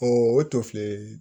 O to filɛ